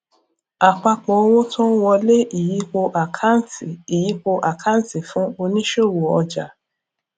àpapọ owó tó ń wọlé ìyípo àkáǹtì ìyípo àkáǹtì fún oníṣòwò ọjà